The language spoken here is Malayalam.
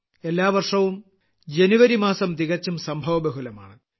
എല്ലാ വർഷവും ജനുവരി മാസം തികച്ചും സംഭവബഹുലമാണ്